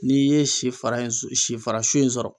N'i ye si fara in s si fara su in sɔrɔ